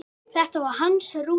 Það var hans rútína.